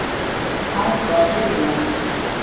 Allt var skipulagt.